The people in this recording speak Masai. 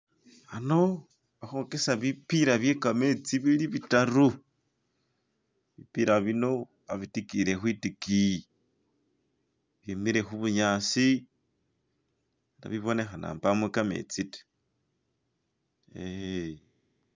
Khano bakhokesa bipila byekametsi bili bitaru bipila bino babidikile kwidigiyi bimile khubunyasi ne bibonekhana mbamo khametsi ta eeh